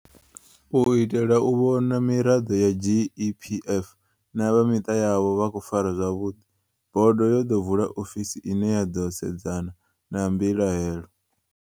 U itela u vhona uri miraḓo ya GEPF na vha miṱa yavho vha khou farwa zwavhuḓi, bodo yo ḓo vula ofisi ine ya ḓo sedzana na mbilahelo.